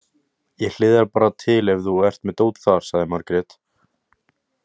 Ég hliðra bara til ef þú ert með dót þar, sagði Margrét.